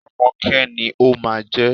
Rọ́mọkẹ́ ni ó máa jẹ́.